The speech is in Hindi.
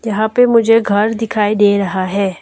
यहां पर मुझे घर दिखाई दे रहा है।